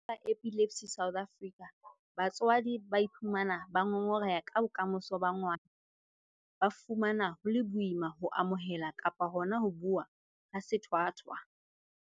Ho ya ka ba Epilepsy South Africa, batswadi ba ka iphumana ba ngongoreha ka bokamoso ba ngwana mme ba fumana ho le boima ho amohela kapa hona ho bua ka sethwathwa.